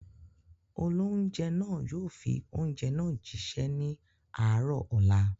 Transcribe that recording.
Olóunjẹ́ náà yóò fi oúnjẹ náà jí ṣẹ́ ní àárọ̀ ọ̀la